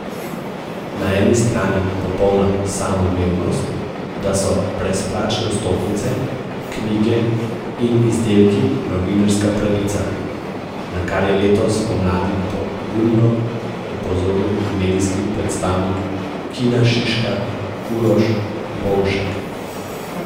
Na eni strani popolna samoumevnost, da so brezplačne vstopnice, knjige in izdelki novinarska pravica, na kar je letos pomladi pogumno opozoril medijski predstavnik Kina Šiška Uroš Bonšek.